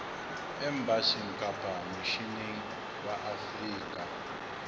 embasing kapa misheneng wa afrika